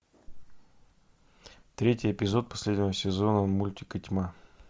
третий эпизод последнего сезона мультика тьма